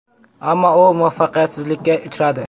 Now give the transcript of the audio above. Ammo u muvaffaqiyatsizlikka uchradi.